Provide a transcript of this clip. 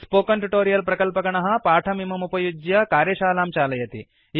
spoken tutorial प्रकल्पगणः पाठमिममुपयुज्य कार्यशालां चालयति